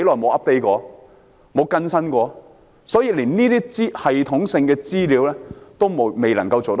所以，海事處連這些系統性的資料也未能夠做好。